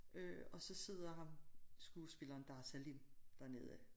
Øh og så sidder ham skuespilleren Dar Salim dernede